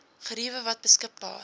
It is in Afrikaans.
geriewe wat beskikbaar